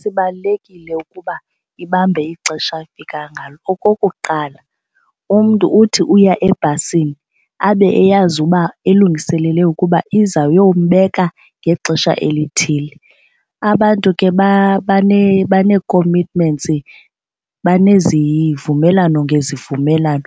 Sibalulekile ukuba ibambe ixesha afika ngalo. Okokuqala, umntu uthi uya ebhasini abe eyazi uba elungiselele ukuba izayombeka ngexesha elithile. Abantu ke banee-commitments banezivumelwano ngezivumelwano.